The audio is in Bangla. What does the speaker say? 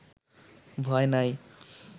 ভয় নাই